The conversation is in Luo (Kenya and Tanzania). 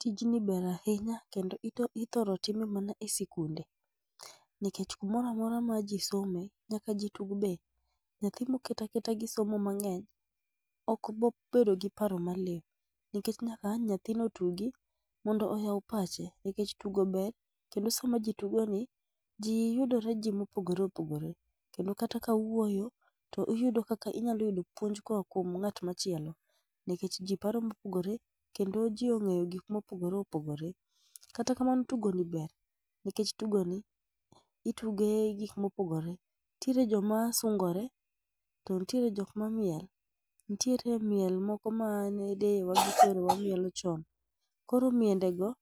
Tijni ber ahinya kendo ithoro time mana e sikunde, nikech kumoro amora ma ji some nyaka ji tug be. Nyathi moket aketa gi somo mang'eny ok bi bedo gi paro maliw nikech nyaka ang' nyathino otugi mondo ohew pache nikech tugo ber, kendo sama ji tugoni, ji yudore ji mopogore opogore kendo kata kawuoyo to iyudo kaka inyalo yudo puonj koa kuom ng'at machielo nikech ji paro mopogore kendo ji ong'eyo gik mopogore opogore. Kata kamano tugoni ber nikech tugoni, itugo gik mopogore. Nitiere joma sungore to nitiere jok mamiel. Nitiere miel moko mane deyewa gi kwerewa mielo chon. Koro mielgo